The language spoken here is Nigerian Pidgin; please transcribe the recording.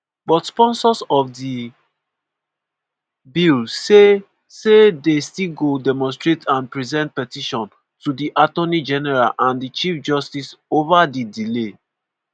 but sponsors of di bill say say dey still go demonstrate and present petition to di attorney general and di chief justice ova di delay.